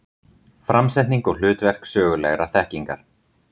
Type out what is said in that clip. Framsetning og hlutverk sögulegrar þekkingar.